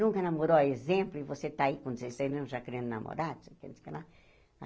Nunca namorou, a exemplo, e você está aí com dezesseis anos já querendo namorar.